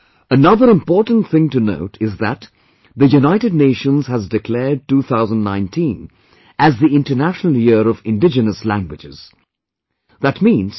Friends, another important thing to note is that the United Nations has declared 2019 as the "International Year of Indigenous Languages"